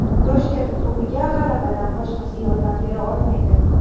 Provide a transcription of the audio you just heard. Toshkent klubiga g‘alabadan boshqasi yordam bera olmaydi.